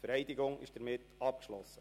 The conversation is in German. Die Vereidigung ist damit abgeschlossen.